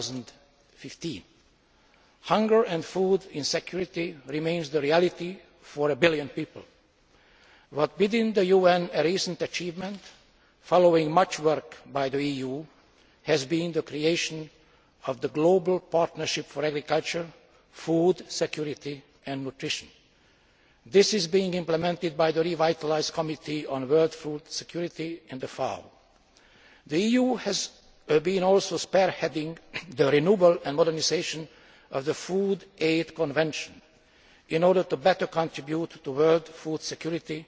2015. Hunger and food insecurity remain a reality for a billion people, but one of the UN's recent achievements, following much work by the EU, has been the creation of the global partnership for agriculture, food security and nutrition. This is being implemented by the revitalised Committee on World Food Security in the FAO. The EU has also been spearheading the renewal and modernisation of the Food Aid Convention in order to better contribute to world food security